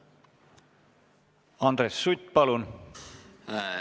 Andres Sutt, palun!